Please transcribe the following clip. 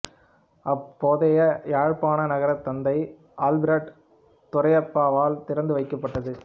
அப்போதைய யாழ்ப்பாண நகரத் தந்தை ஆல்பிரட் துரையப்பாவால் திறந்து வைக்கப்பட்டது